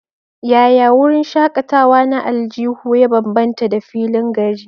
Yaya wurin shakatawa na aljihu ya bambanta da filin gari?